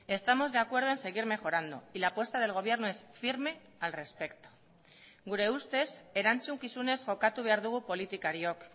estamos de acuerdo en seguir mejorando y la apuesta del gobierno es firme al respecto gure ustez erantzukizunez jokatu behar dugu politikariok